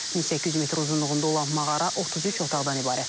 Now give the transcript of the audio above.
1800 metr uzunluğunda olan mağara 33 otaqdan ibarətdir.